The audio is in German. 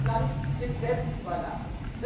Sie hat das Land sich selbst überlassen.